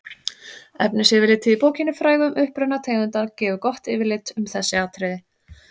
efnisyfirlitið í bókinni frægu um uppruna tegundanna gefur gott yfirlit um þessi atriði